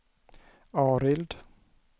Arild